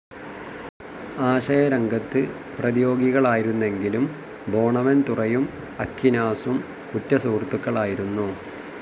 ആശയരംഗത്ത് പ്രതിയോഗികളായിരുന്നെങ്കിലും ബോണവൻതുറയും അക്വിനാസം ഉറ്റ സുഹൃത്തുക്കളായിരുന്നു.